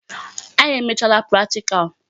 Anyị emeela practical.